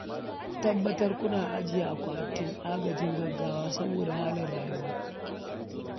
Ku tabbatar kuna ajiye akwatin agajin gaggawa saboda halin rayuwa